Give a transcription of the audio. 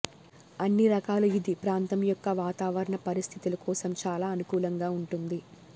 అన్ని రకాలు ఇది ప్రాంతం యొక్క వాతావరణ పరిస్థితులు కోసం చాలా అనుకూలంగా ఉంటుంది